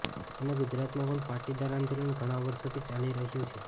અને ગુજરાતમાં પણ પાટીદાર આંદોલન ઘણા વર્ષોથી ચાલી રહ્યું છે